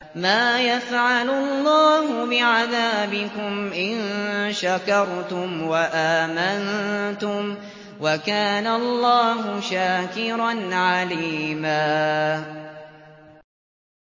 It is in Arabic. مَّا يَفْعَلُ اللَّهُ بِعَذَابِكُمْ إِن شَكَرْتُمْ وَآمَنتُمْ ۚ وَكَانَ اللَّهُ شَاكِرًا عَلِيمًا